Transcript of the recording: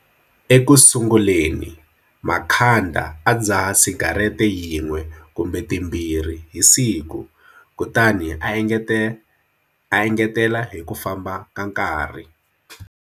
Ekusunguleni Makhanda a dzaha sigarete yin'we kumbe timbirhi hi siku, kutani a engetela hi ku famba ka nkarhi.